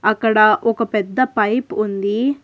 అక్కడ ఒక పెద్ద పైపు ఉంది.